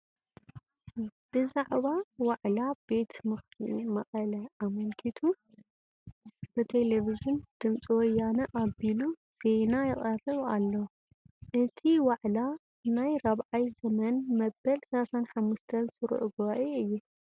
ብዛዕባ ዋዕላ ቤት ምኽሪ መቐለ ኣመልኪቱ ብቴለቪዥን ድምፂ ወያነ ኣቢሉ ዜና ይቐርብ ኣሎ፡፡ እቲ ዋዕላ ናይ 4ይ ዘመን መበል 35 ስሩዕ ጉባኤ እዩ፡፡